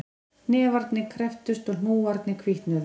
Hnefarnir krepptust og hnúarnir hvítnuðu